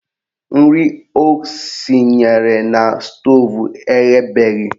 Nri o sinyere na stoovu eghebeghi